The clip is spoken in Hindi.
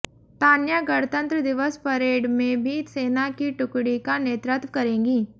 तान्या गणतंत्र दिवस परेड में भी सेना की टुकड़ी का नेतृत्व करेंगी